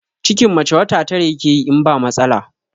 Cikin mace wata tara yakeyi in ba matsala